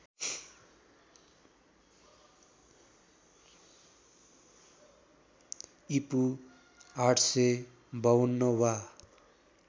ईपू ८५२ वा